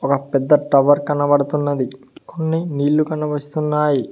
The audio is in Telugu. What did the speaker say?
ఒక్ పెద్ద టవర్ కనపడుతున్నది కొన్ని నీళ్ళు కనివిస్తున్నాయి .